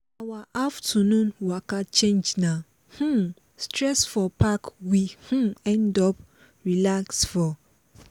our afternoon waka change na um stream for park we um end up relax for.